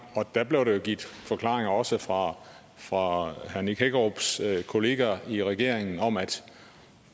blev der jo givet forklaringer også fra herre nick hækkerups kolleger i regeringen om at